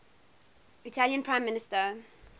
italian prime minister